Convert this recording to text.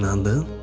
İndi inandın?